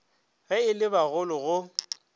ge e le bagolo go